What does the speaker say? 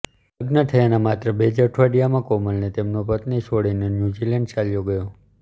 લગ્ન થયાંના માત્ર બે જ અઠવાડિયામાં કોમલને તેમનો પતિ છોડીને ન્યુઝીલેન્ડ ચાલ્યો ગયો